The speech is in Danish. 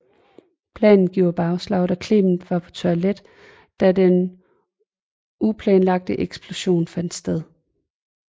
Planen giver bagslag da Clemente var på toilet da den uplanlagte eksplosion fandt sted